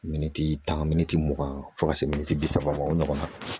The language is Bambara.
Miniti tan min mugan fo ka se miniti bi saba ma o ɲɔgɔnna